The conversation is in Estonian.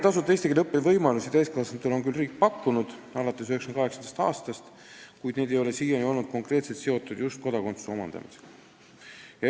Tasuta eesti keele õppimise võimalusi täiskasvanutele on riik küll pakkunud alates 1998. aastast, kuid need ei ole siiani olnud konkreetselt seotud kodakondsuse omandamisega.